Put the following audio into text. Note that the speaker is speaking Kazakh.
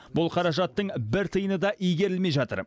бұл қаражаттың бір тиыны да игерілмей жатыр